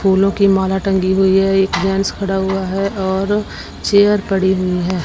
फूलों की माला टंगी हुई है एक जेंट्स खड़ा हुआ है और चेयर पड़ी हुई है।